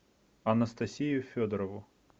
анастасию федорову